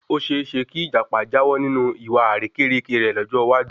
Oseese ki Ìjàpá jáwọ́ ninu ìwà àrékérekè rẹ lọ́jọ́ iwájú